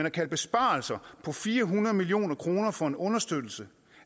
at kalde besparelser på fire hundrede million kroner for en understøttelse